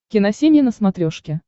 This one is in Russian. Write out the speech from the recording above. киносемья на смотрешке